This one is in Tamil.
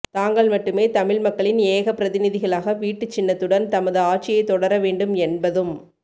தாங்கள் மட்டுமே தமிழ் மக்களின் ஏகபிரதிநிதிகளாக வீட்டுச்சின்னத்துடன் தமது ஆட்சியை தொடரவேண்டும் என்பதும்